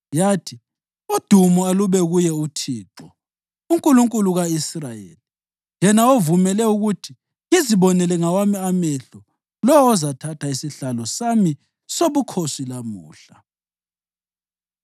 yathi, ‘Udumo alube kuye uThixo, uNkulunkulu ka-Israyeli, yena ovumele ukuthi ngizibonele ngawami amehlo lowo ozathatha isihlalo sami sobukhosi lamuhla.’ ”